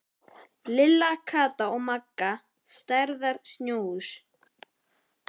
Lilla, Kata og Magga stærðar snjóhús.